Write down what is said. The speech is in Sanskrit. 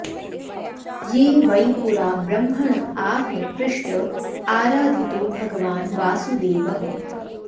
ये वै पुरा ब्रह्मण आह पृष्ट आराधितो भगवान् वासुदेवः